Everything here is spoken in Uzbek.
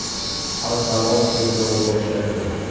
Xalqaro tergov boshlandi.